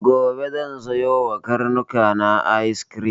Gobe zan siya ma karnuka na ayis krim.